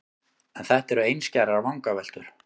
En þetta eru einskærar vangaveltur.